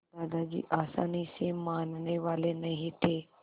दादाजी आसानी से मानने वाले नहीं थे